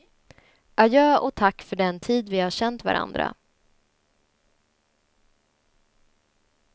Adjö och tack för den tid vi har känt varandra.